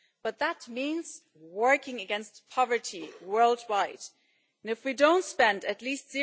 But that means working against poverty worldwide, and if we don't spend at least